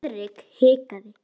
Friðrik hikaði.